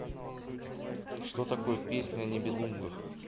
что такое песнь о нибелунгах